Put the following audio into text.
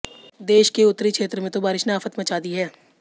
देश के उत्तरी क्षेत्र में तो बारिश ने आफत मचा दी है